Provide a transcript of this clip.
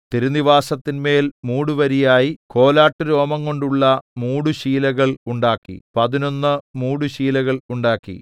തിരുനിവാസത്തിന്മേൽ മൂടുവരിയായി കോലാട്ടുരോമംകൊണ്ടുള്ള മൂടുശീലകൾ ഉണ്ടാക്കി പതിനൊന്ന് മൂടുശീലകൾ ഉണ്ടാക്കി